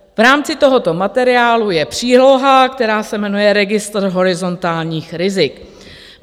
V rámci tohoto materiálu je příloha, která se jmenuje Registr horizontálních rizik.